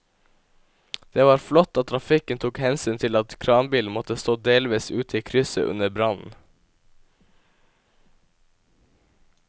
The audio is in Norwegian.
Det var flott at trafikken tok hensyn til at kranbilen måtte stå delvis ute i krysset under brannen.